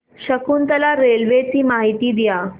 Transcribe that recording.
Shakuntala railway ची माहिती द्या